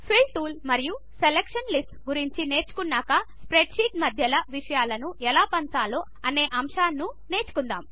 fill tool మరియు selection lists గురించి నేర్చుకున్నాకా మనము ఇప్పుడు షీట్ల మధ్య విషయమును ఎలా పంచాలి అనే అంశమును నేర్చుకుందాము